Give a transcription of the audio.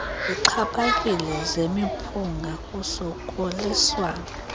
zixhaphakileyo zemiphunga kusokoliswana